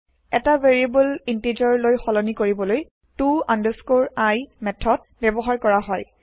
এটা variable integer লৈ সলনি কৰিবলৈ to i মেঠদ ব্যৱহাৰ কৰা হয়